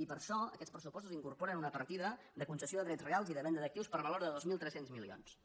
i per això aquests pressupostos incorporen una partida de concessió de drets reals i de venda d’actius per valor de dos mil tres cents milions